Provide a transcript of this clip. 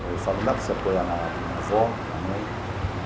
Eu falo, não dá para se apoiar na avó, na mãe, né?